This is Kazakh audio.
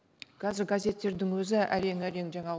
қазір газеттердің өзі әрең әрең жаңа